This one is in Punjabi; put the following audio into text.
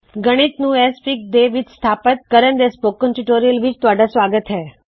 ਗਣਿਤ ਨੂੰ ਐਕਸਐਫਆਈਜੀ ਦੇ ਵਿਚ ਸਥਾਪਿਤ ਕਰਣ ਦੇ ਲਈ ਸਪੋਕਨ ਟਯੋਟੋਰਿਅਲ ਵਿੱਚ ਆਪ ਦਾ ਸਵਾਗਤ ਹੈ